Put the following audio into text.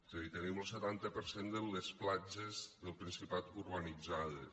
és a dir tenim lo setanta per cent de les platges del principat urbanitzades